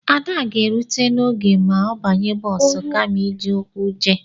Ada ga-erute n'oge ma ọ banye bọs kama iji ụkwụ jee